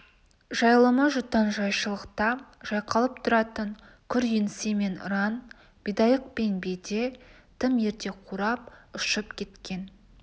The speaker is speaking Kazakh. жайылымы жұтаң жайшылықта жайқалып тұратын күр еңсе мен раң бидайық пен беде тым ерте қурап ұшып кеткен